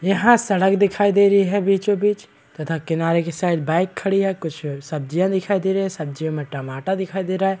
यहाँ सड़क दिखाई दे रही है बीचो बीच तथा किनारे के साइड बाइक खड़ी है कुछ सब्जियां दिखाई दे रही है सब्जियों मे टमाटर दिखाई दे रहा है ।